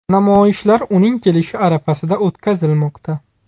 Namoyishlar uning kelishi arafasida o‘tkazilmoqda.